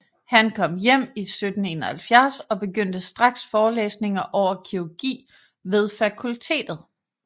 Han kom hjem i 1771 og begyndte straks forelæsninger over kirurgi ved fakultetet